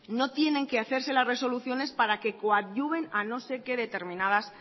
no tienen que hacerse las resoluciones para que coadyuven a no sé que determinadas